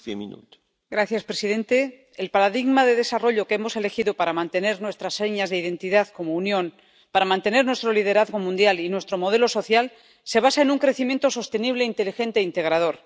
Señor presidente, el paradigma de desarrollo que hemos elegido para mantener nuestras señas de identidad como Unión, para mantener nuestro liderazgo mundial y nuestro modelo social, se basa en un crecimiento sostenible, inteligente e integrador.